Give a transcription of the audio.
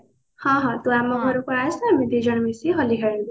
ହଁ ହଁ ତୁ ଆମ ଘରକୁ ଆସେ ଆମେ ଦି ଜଣ ମିସିକି ହୋଲି ଖେଳିବୁ